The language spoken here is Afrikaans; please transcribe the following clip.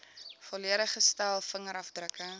volledige stel vingerafdrukke